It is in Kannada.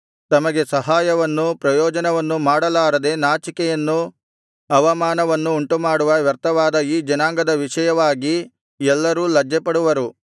ತಮಗೆ ಸಹಾಯವನ್ನೂ ಪ್ರಯೋಜನವನ್ನೂ ಮಾಡಲಾರದೆ ನಾಚಿಕೆಯನ್ನೂ ಅವಮಾನವನ್ನೂ ಉಂಟುಮಾಡುವ ವ್ಯರ್ಥವಾದ ಈ ಜನಾಂಗದ ವಿಷಯವಾಗಿ ಎಲ್ಲರೂ ಲಜ್ಜೆಪಡುವರು